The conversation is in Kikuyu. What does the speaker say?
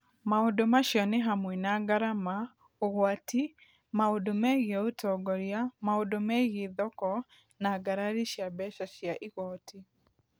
Maũndũ macio nĩ hamwe na ngarama, ũgwati, maũndũ megiĩ ũtongoria, maũndũ megiĩ thoko, na ngarari cia mbeca cia igooti.